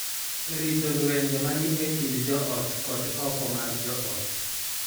E rito lwenje ma ni e kind joot kod oko mar joot.